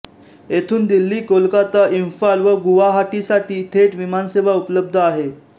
येथून दिल्ली कोलकाता इम्फाल व गुवाहाटीसाठी थेट विमानसेवा उपलब्ध आहे